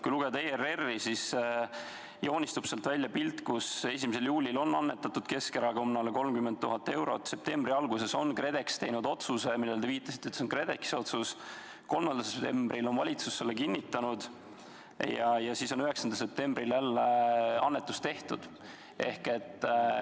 Kui lugeda ERR-i infot, siis joonistub sealt välja selline pilt: 1. juulil on annetatud Keskerakonnale 30 000 eurot, septembri alguses on KredEx teinud otsuse – te viitasite, et see oli KredExi otsus –, 3. septembril on valitsus selle kinnitanud ja siis on 9. septembril jälle annetus tehtud.